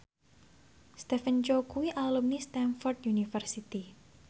Stephen Chow kuwi alumni Stamford University